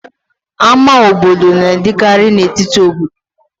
Ámá obodo na-adịkarị n'etiti obodo.